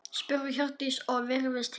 spurði Hjördís og virtist hissa.